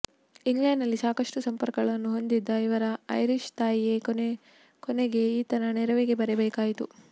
ಇಂಗ್ಲೆಂಡಿನಲ್ಲಿ ಸಾಕಷ್ಟು ಸಂಪರ್ಕಗಳನ್ನು ಹೊಂದಿದ್ದ ಇವರ ಐರಿಷ್ ತಾಯಿಯೇ ಕೊನೆಗೆ ಈತನ ನೆರವಿಗೆ ಬರಬೇಕಾಯಿತು